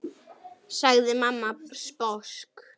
sagði mamma sposk.